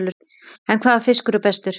En hvaða fiskur er bestur?